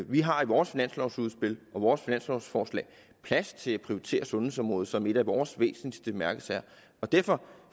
vi har i vores finanslovudspil og i vores finanslovforslag plads til at prioritere sundhedsområdet som en af vores væsentligste mærkesager derfor